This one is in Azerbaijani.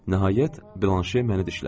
Nəhayət, Balanşe məni dişlədi.